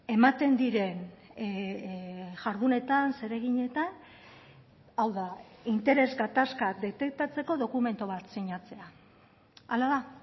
ematen diren jardunetan zereginetan hau da interes gatazka detektatzeko dokumentu bat sinatzea hala da